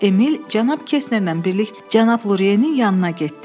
Emil cənab Kestnerlə birlik cənab Lurenin yanına getdi.